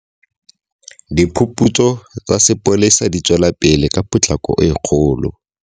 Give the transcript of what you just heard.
Diphuputso tsa sepolesa di tswelapele ka potlako e kgolo.